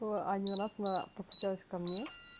оо один раз она постучалась ко мне